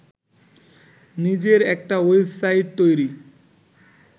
নিজের একটা ওয়েবসাইট তৈরি